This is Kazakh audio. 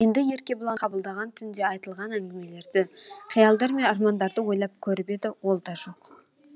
енді еркебұланды қабылдаған түнде айтылған әңгімелерді қиялдар мен армандарды ойлап көріп еді ол да жоқ